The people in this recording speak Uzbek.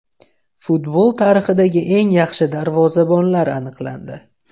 Futbol tarixidagi eng yaxshi darvozabonlar aniqlandi.